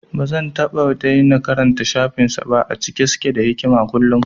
Bazan taɓa daina karanta shafin sa ba, a cike suke da hikama kullum